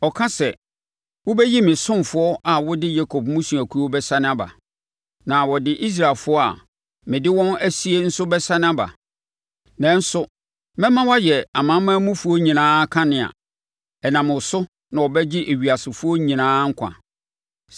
Ɔka sɛ, “Wobɛyɛ me ɔsomfoɔ a wode Yakob mmusuakuo bɛsane aba, na wode Israelfoɔ a mede wɔn asie nso bɛsane aba. Nanso, mɛma woayɛ amanamanmufoɔ nyinaa kanea, ɛnam wo so na wɔbɛgye ewiasefoɔ nyinaa nkwa.”